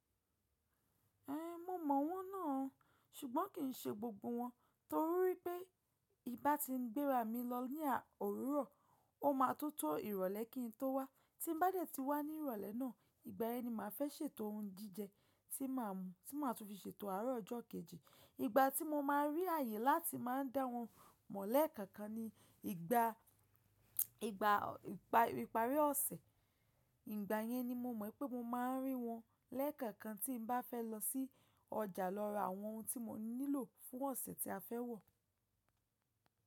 Ẹhn, mo mọ wọn náà o, ṣùgbọ́n kì í ṣe gbogbo wọn torí pé ibà ti ń gbéra mi lọ ní à òwúrọ̀, ó máa tó tó ìrọ̀lẹ́ kí n tó wá. Tí n bá dẹ̀ ti wá ní ìrọ̀lẹ́ náà, ìgbà ẹni máa fẹ́ ṣètò ohun jíjẹ tí màá mu, tí màá tún fi ṣètò ará ọjọ́ kejì. Ìgbà tí mo máa rí àyè láti máa dá wọn mọ̀ lẹ́ẹ̀kẹ̀kan ni ìgbà, ìgbà ìparí ọ̀sẹ̀. Ìgbà yẹn ni mo mọ̀ pé mo máa rí wọn lẹ́ẹ̀kẹ̀kan tí n bá fẹ́ lọ sí ọjà lọ ra àwọn ohun tí mo nílò fún ọ̀sẹ̀ tí a fẹ́ wọ̀.